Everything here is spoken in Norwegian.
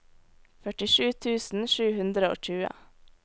førtisju tusen sju hundre og tjue